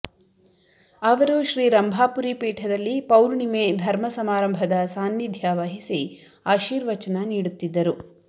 ಅವರು ಶ್ರೀ ರಂಭಾಪುರಿ ಪೀಠದಲ್ಲಿ ಪೌರ್ಣಿಮೆ ಧರ್ಮ ಸಮಾರಂಭದ ಸಾನ್ನಿಧ್ಯ ವಹಿಸಿ ಆಶಿರ್ವಚನ ನೀಡುತ್ತಿದ್ದರು